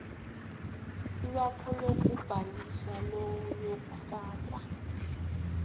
lwakho lokubhalisa luyofakwa